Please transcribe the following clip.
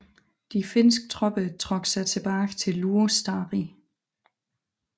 De finske tropper trak sig tilbage til Luostari